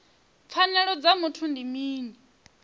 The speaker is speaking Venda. pfanelo dza muthu ndi mini